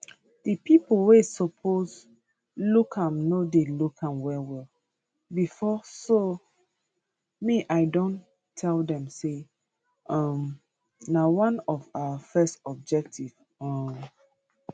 di pipo wey suppose look am no dey look am wellwell bifor so me i don tell dem say um na one of our first objective um